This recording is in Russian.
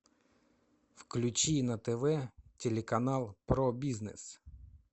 включи на тв телеканал про бизнес